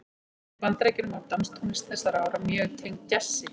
Í Bandaríkjunum var danstónlist þessara ára mjög tengd djassi.